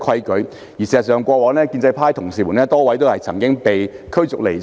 事實上，過往也曾有多位建制派議員被驅逐離場。